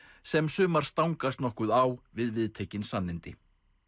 sem sumar stangast nokkuð á við viðtekin sannindi